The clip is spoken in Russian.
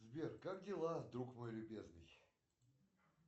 сбер как дела друг мой любезный